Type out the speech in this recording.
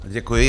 Děkuji.